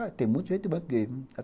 Olha, tem muito gerente de banco gay.